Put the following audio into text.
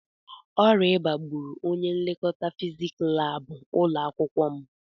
Ọrịa ịba gbúrù ọnye nlekọta fiziks lab ụlọakwụkwọ m.